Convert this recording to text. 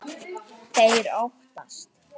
Þeir óttast.